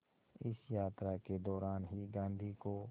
इस यात्रा के दौरान ही गांधी को